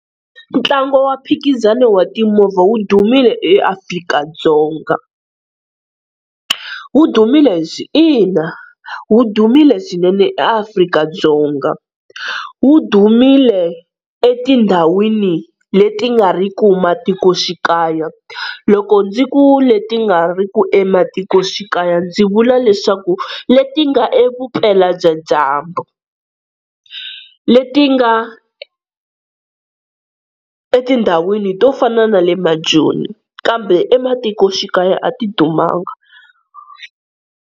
Ntlangu wa mphikizano wa timovha wu dumile eAfrika-Dzonga, wu dumile ina wu dumile swinene eAfrika-Dzonga. Wu dumile etindhawini leti nga ri ku matikoxikaya, loko ndzi ku leti nga ri ku ematikoxikaya ndzi vula leswaku leti nga evupela bya dyambu leti nga etindhawini to fana na le maJoni kambe ematikoxikaya a ti dumanga.